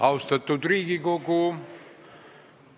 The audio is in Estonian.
Austatud Riigikogu!